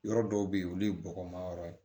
Yɔrɔ dɔw bɛ yen olu ye bɔgɔma yɔrɔ ye